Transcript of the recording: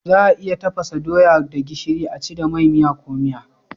Za a iya tafasa doya da gishiri a ci da mai, miya ko miya.